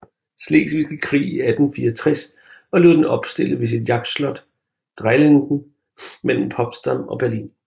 Slesvigske Krig i 1864 og lod den opstille ved sit jagtslot Dreilinden mellem Potsdam og Berlin